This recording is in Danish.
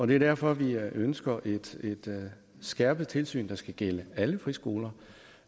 det er derfor vi ønsker et skærpet tilsyn der skal gælde alle friskoler